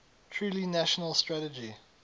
truly national strategy